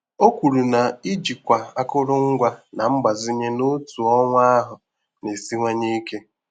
O kwuru na ijikwa akụrụngwa na mgbazinye n'otu ọnwa ahụ na-esiwanye ike.